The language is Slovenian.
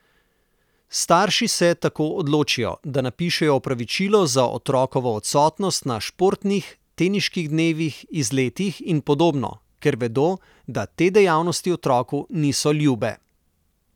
Starši se tako odločijo, da napišejo opravičilo za otrokovo odsotnost na športnih, tehniških dnevih, izletih in podobno, ker vedo, da te dejavnosti otroku niso ljube.